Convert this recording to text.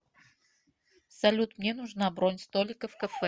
салют мне нужна бронь столика в кафе